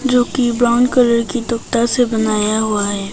जो कि brown colour की से बनाया हुआ है।